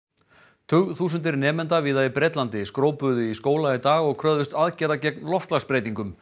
tugþúsundir nemenda víða í Bretlandi í skóla í dag og kröfðust aðgerða gegn loftslagsbreytingum